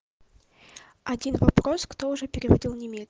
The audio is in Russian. один вопрос кто уже переводил